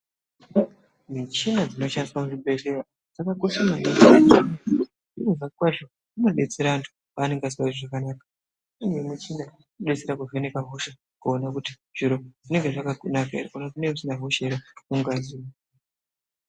Michina dzinoshandiswa muzvibhedhleya dzakakosha maningi ngenyaya yekuti zviro kwazvo dzinodetsera antu paanenge asikazwi zvakanaka imweni yemichina